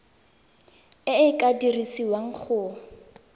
e e ka dirisiwang go